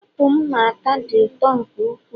apụl a m na-ata dị ụtọ nke ukwuu